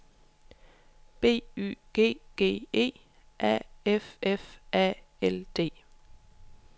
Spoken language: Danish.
B Y G G E A F F A L D